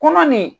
Kɔnɔ nin